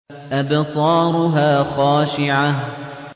أَبْصَارُهَا خَاشِعَةٌ